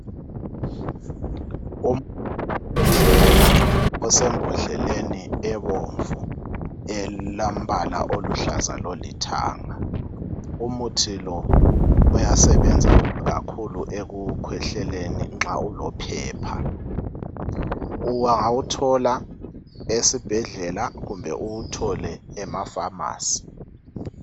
wokukhwehlela osembodleni ebomvu elombala oluhlaza lolithanga umuthi lo uyasebenza kakhulu ekukhwehleleni nxa ulo phepha ungawuthola esibhedlela kumbe uwuthole ema phamarcy